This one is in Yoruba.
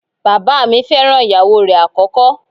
Bàbáà mi fẹ́ràn ìyàwó rẹ̀ àkọ́kọ́.